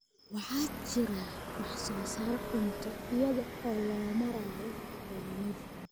waxaa jira wax soo saar cunto iyada oo loo marayo pollination.